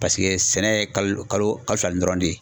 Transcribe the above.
Paseke ,sɛnɛ ye kalo kalo kalo fila nin dɔrɔn de ye.